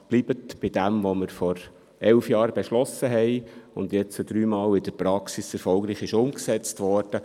Bitte bleiben Sie bei dem, was wir vor elf Jahren beschlossen haben und was nun dreimal erfolgreich in der Praxis umgesetzt wurde.